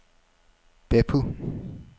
Beppu